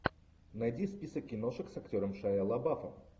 найди список киношек с актером шайа лабаф